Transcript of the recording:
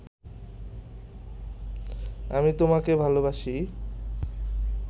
আমি তোমাকে ভালোবাসি